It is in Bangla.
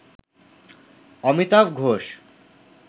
অমিতাভ ঘোষ